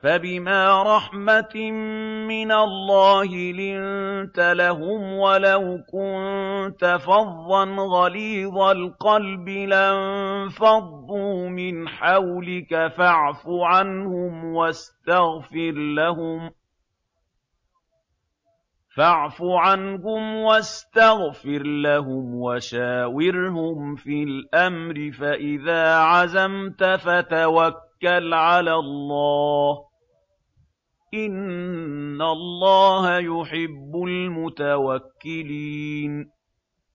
فَبِمَا رَحْمَةٍ مِّنَ اللَّهِ لِنتَ لَهُمْ ۖ وَلَوْ كُنتَ فَظًّا غَلِيظَ الْقَلْبِ لَانفَضُّوا مِنْ حَوْلِكَ ۖ فَاعْفُ عَنْهُمْ وَاسْتَغْفِرْ لَهُمْ وَشَاوِرْهُمْ فِي الْأَمْرِ ۖ فَإِذَا عَزَمْتَ فَتَوَكَّلْ عَلَى اللَّهِ ۚ إِنَّ اللَّهَ يُحِبُّ الْمُتَوَكِّلِينَ